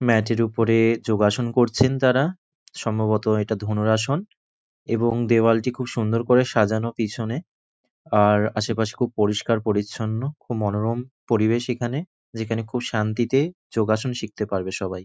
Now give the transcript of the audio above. Mat এর ওপরে যোগাসন করছেন তারা সম্ভবত এটা ধনুর আসন এবং দেওয়ালটি খুব সুন্দর করে সাজানো পিছনে। আর আশেপাশে খুব পরিস্কার পরিচ্ছন্ন। খুব মনোরম পরিবেশ এখানে যেখানে খুব শান্তিতে যোগাসন শিখতে পারবে সবাই।